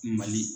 Mali